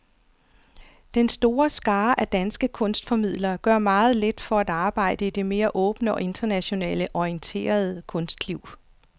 Den store skare af danske kunstformidlere gør meget lidt for at arbejde i det mere åbne og internationalt orienterede kunstliv.